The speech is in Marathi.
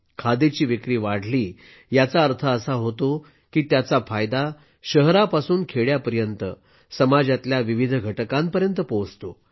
खादीची विक्री वाढली याचा अर्थ असा होतो की त्याचा फायदा शहरापासून खेड्यापर्यंत समाजातल्या विविध घटकांपर्यंत पोहोचतो